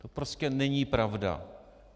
To prostě není pravda.